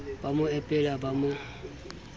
ba mo epela ba mo